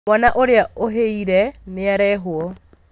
Mwana ũrĩa ũhĩire nĩarehwo